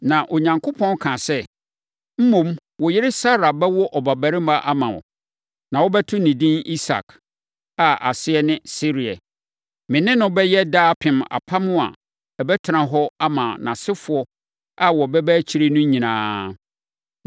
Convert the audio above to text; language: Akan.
Na Onyankopɔn kaa sɛ, “Mmom, wo yere Sara bɛwo ɔbabarima ama wo, na wobɛto no edin Isak, a aseɛ ne Sereɛ. Me ne no bɛyɛ daapem apam a ɛbɛtena hɔ ama nʼasefoɔ a wɔbɛba akyire no nyinaa.